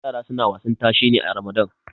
yara suna wasan tashe ne a ramadan